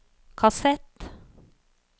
kassett